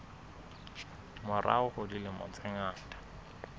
morao ka dilemo tse ngata